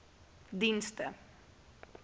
dienste